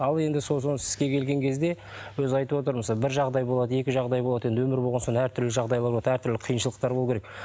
ал енді сол соны іске келген кезде өзі айтып отыр мысалы бір жағдай болады екі жағдай болады енді өмір болған соң әртүрлі жағдайлар болады әртүрлі қиыншылықтар болу керек